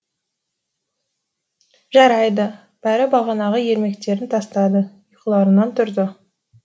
жарайды бәрі бағанағы ермектерін тастады ұйқыларынан тұрды